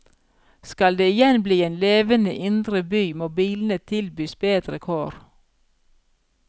Skal det igjen bli en levende indre by, må bilene tilbys bedre kår.